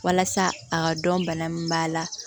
Walasa a ka dɔn bana min b'a la